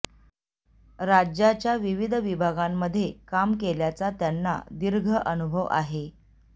राज्याच्या विविध विभागांमध्ये काम केल्याचा त्यांना दीर्घ अनुभव आहे